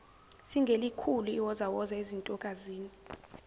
singelikhulu iwozawoza ezintokazini